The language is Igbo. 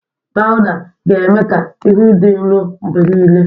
Pawụda ga-eme ka ihu dị nro mgbe niile.